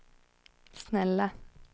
snälla